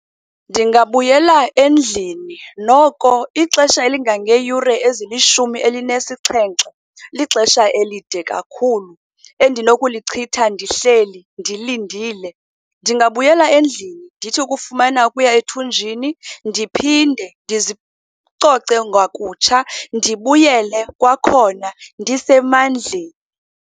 Ndingabuyela endlini, noko ixesha elingangeeyure ezilishumi elinesixhenxe lixesha elide kakhulu endinokulichitha ndihleli, ndilindile. Ndingabuyela endlini, ndithi ukufumana okuya ethunjini ndiphinde ndizicoce ngakutsha, ndibuyele kwakhona ndisemandleni.